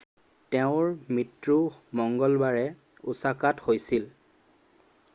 তেওঁৰ মৃত্যু মঙ্গলবাৰে ওচাকাত হৈছিল